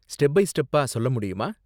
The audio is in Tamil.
ஸ்டெப் பை ஸ்டெப்பா சொல்ல முடியுமா?